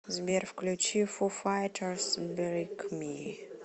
сбер включи фу файтерс биг ми